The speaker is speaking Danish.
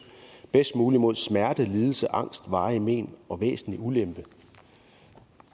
bedst muligt mod smerte lidelse angst varigt mén og væsentlig ulempe